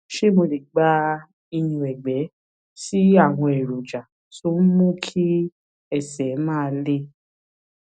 ṣé mo lè gba ìyúnẹgbẹ sí àwọn èròjà tó ń mú kí ẹsè máa le